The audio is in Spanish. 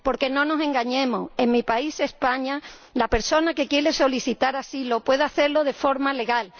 Porque no nos engañemos en mi país, España, la persona que quiere solicitar asilo puede hacerlo de forma legal.